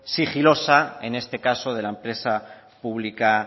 sigilosa en este caso de la empresa pública